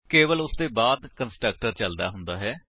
ਕੇਵਲ ਉਸਦੇ ਬਾਅਦ ਕੰਸਟਰਕਟਰ ਚਲਦਾ ਹੁੰਦਾ ਹੈ